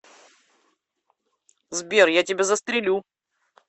сбер я тебя застрелю